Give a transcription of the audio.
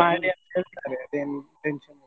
ಮಾಡಿ ಅಂತ ಹೇಳ್ತಾರೆ ಅದ್ ಏನು tension ಇಲ್ಲ.